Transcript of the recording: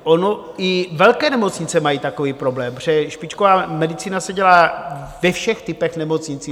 Ono i velké nemocnice mají takový problém, protože špičková medicína se dělá ve všech typech nemocnic.